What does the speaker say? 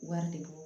Wari de don